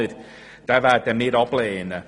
Diesen Antrag werden wir ablehnen.